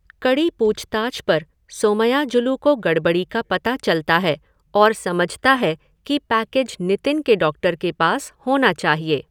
कड़ी पूछताछ पर सोमयाजुलु को गड़बड़ी का पता चलता है और समझता है कि पैकेज नितिन के डॉक्टर के पास होना चाहिए।